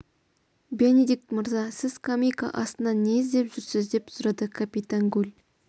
бенедикт мырза сіз скамейка астынан не іздеп жүрсіз деп сұрады капитан гуль